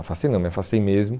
Afastei não, me afastei mesmo.